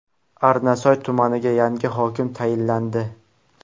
Arnasoy tumaniga yangi hokim tayinlandi.